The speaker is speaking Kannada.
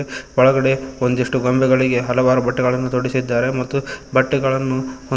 ಒಳಗಡೆ ಒಂದಿಷ್ಟು ಗೊಂಬೆಗಳಿಗೆ ಹಲವಾರು ಬೆಟ್ಟಗಳನ್ನು ತೊಡಿಸಿದ್ದಾರೆ ಮತ್ತು ಬಟ್ಟೆಗಳನ್ನು ಒಂದು--